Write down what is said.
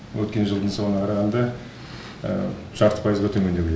өткен жылдың соңына қарағанда жарты пайызға төмендеу